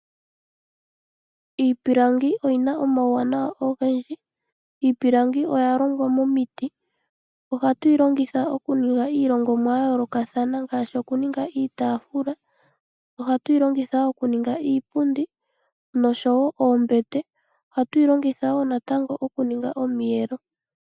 Iipilangi oyina omauwanawa ogendji. Iipilangi oyalongwa momiti, ohatu yi longitha okuninga iilongomwa yayoolokathana ngaashi okuninga iitafula. Ohatu yi longitha wo okuninga iipundi nosho wo oombete, oahtu yi longitha wo okuninga natango okuninga omiiyelo.